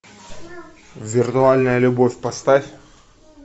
виртуальная любовь поставь